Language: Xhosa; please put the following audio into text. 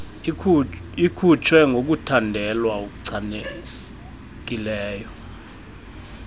ikhutshwe ngokuthandelwa okuchanekileyo